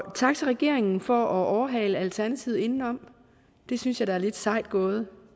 tak til regeringen for at overhale alternativet indenom det synes jeg da er lidt sejt gået